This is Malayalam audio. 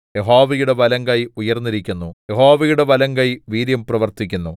യഹോവയുടെ വലങ്കൈ ഉയർന്നിരിക്കുന്നു യഹോവയുടെ വലങ്കൈ വീര്യം പ്രവർത്തിക്കുന്നു